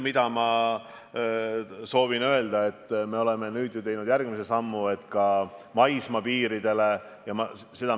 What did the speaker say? Aga ma soovin öelda, et me oleme nüüd teinud järgmise sammu, et ka maismaapiiril paremini inimesi kontrollida.